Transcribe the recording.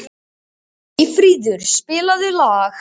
Eyfríður, spilaðu lag.